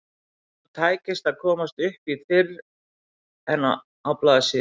Honum tækist ekki að komast upp í fyrr en á blaðsíðu